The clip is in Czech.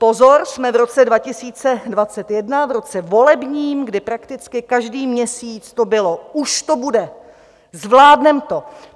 Pozor, jsme v roce 2021, v roce volebním, kdy prakticky každý měsíc to bylo: Už to bude, zvládneme to.